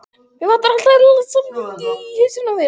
Það vantar allt eðlilegt samhengi í hausinn á þér.